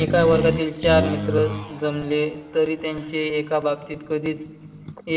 ऐंका वर्गातील चार मित्र जमले तरी त्यांचे ऐका बाबतीत कधीच